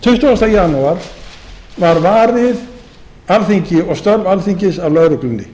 tuttugasta janúar var varið alþingi og störf alþingis að lögreglunni